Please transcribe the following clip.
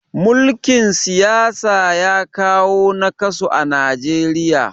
mulikin siyasa ya kawo nakasu a Najeriya